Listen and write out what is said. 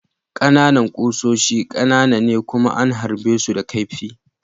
Ƙananan kusoshi ƙanana ne kuma an harbe su da kaifi.